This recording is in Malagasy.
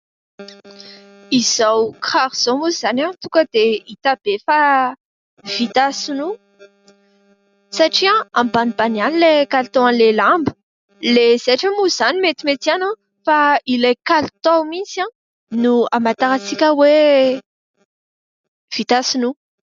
Izao kiraro izao moa izany tonga dia hita be fa vita sinoa, satria ambanimbany ihany ilay kalitaon'ilay lamba ; ilay zaitra moa izany metimety ihany fa ilay kalitao mihitsy no hamantarantsika hoe vita sinoa.